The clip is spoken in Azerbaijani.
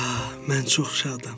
Hə, mən çox şadam.